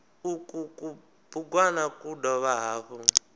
uku kubugwana ku dovha hafhu